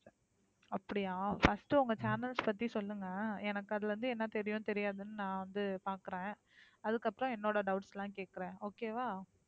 அப்படியா first உங்க channels பத்தி சொல்லுங்க எனக்கு அதுல இருந்து என்ன தெரியும், தெரியாதுன்னு நான் வந்து பாக்குறேன் அதுக்கப்புறம் என்னோட doubts எல்லாம் கேக்குறேன் okay வா